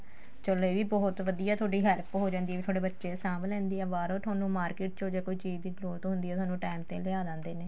ਚੱਲ ਇਹ ਵੀ ਬਹੁਤ ਵਧੀਆ ਤੁਹਾਡੀ help ਹੋ ਜਾਂਦੀ ਏ ਤੁਹਾਡੇ ਬੱਚੇ ਵੀ ਸਾਂਬ ਲੈਂਦੀ ਏ ਬਾਹਰੋ ਤੁਹਾਨੂੰ market ਚੋ ਜੇ ਕੋਈ ਚੀਜ਼ ਦੀ ਜਰੂਰਤ ਹੁੰਦੀ ਏ ਤੁਹਾਨੂੰ time ਤੇ ਲਿਆ ਦੈਂਦੇ ਨੇ